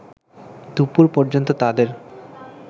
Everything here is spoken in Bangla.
দুপুর পর্যন্ত তাদের